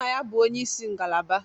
Nna ya bụ onye isi ngalaba